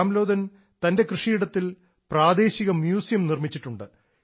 രാംലോധൻ തൻറെ കൃഷിയിടത്തിൽ പ്രാദേശിക മ്യൂസിയം നിർമ്മിച്ചിട്ടുണ്ട്